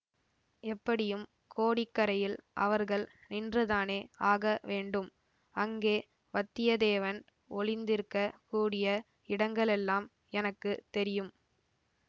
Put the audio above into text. எப்படியும் கோடிக்கரையில் அவர்கள் நின்றுதானே ஆக வேண்டும் அங்கே வத்தியத்தேவன் ஒளிந்திருக்கக் கூடிய இடங்களெல்லாம் எனக்கு தெரியும்